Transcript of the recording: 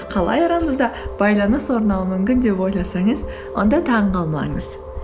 қалай арамызда байланыс орнауы мүмкін деп ойласаңыз онда таңғалмаңыз